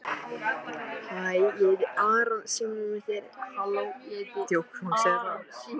Ég gleymi ekki þeim orðum hans.